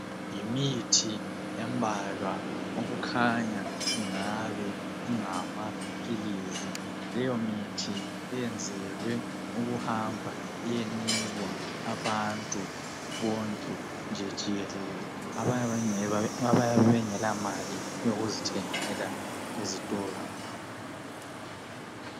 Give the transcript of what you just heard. Yimithi embalwaokukhanya kungabe kungamaphilizi. Leyo mithi iyenzelwe ukuhamba iyenikwa abantu bonke nje jikelele abayabe bengelamali yokuzithengela ezitolo.